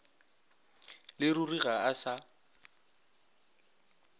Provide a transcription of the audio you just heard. le ruri ga a sa